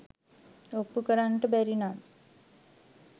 ඔප්පු කරන්නට බැරි නම්